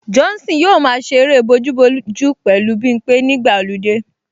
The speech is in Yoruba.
Johnson yóò máa ṣe eré bojúbojú pẹ̀lú Bimpé nígbà ọludé